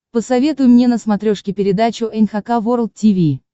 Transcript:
посоветуй мне на смотрешке передачу эн эйч кей волд ти ви